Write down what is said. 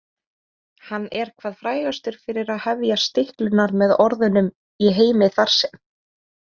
Hann er hvað frægastur fyrir að hefja stiklurnar með orðunum: Í heimi þar sem.